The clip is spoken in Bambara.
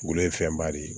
Wulu ye fɛnba de ye